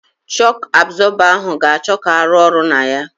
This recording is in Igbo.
Shọku abzọba ahụ ga-achọ ka arụ ọrụ na ya.